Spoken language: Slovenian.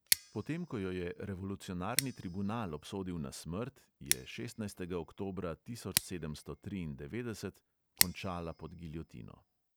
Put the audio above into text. Potem ko jo je revolucionarni tribunal obsodil na smrt, je šestnajstega oktobra tisoč sedemsto triindevetdeset končala pod giljotino.